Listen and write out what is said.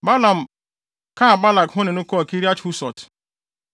Balaam kaa Balak ho ne no kɔɔ Kiria-Husot.